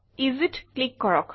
Easyত click কৰক